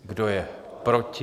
Kdo je proti?